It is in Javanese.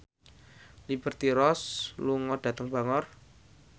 Liberty Ross lunga dhateng Bangor